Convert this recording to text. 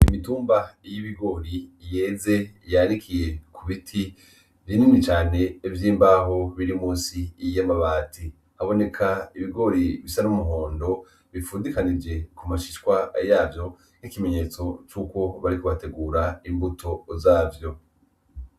Imitumba y'ibigori yeze yanikiye ku biti binini cane vy'imbaho biri musi y'amabati. Haboneka ibigori bisa n'umuhondo bifundikanije ku mashishwa yavyo nk'ikimenyetso c'uko bariko bategura imbuto zavyo.